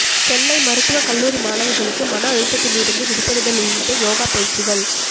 சென்னை மருத்துவ கல்லூரி மாணவிகளுக்கு மன அழுத்தத்திலிருந்து விடுபடுதல் உள்ளிட்ட யோகா பயிற்சிகள்